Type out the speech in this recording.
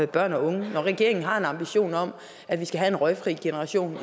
børn og unge når regeringen har en ambition om at vi skal have en røgfri generation